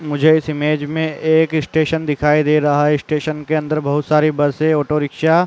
मुझे इस इमेज में एक स्टेशन दिखाई दे रहा है। स्टेशन के अंदर बहुत सारी बसें ऑटोरिक्शा --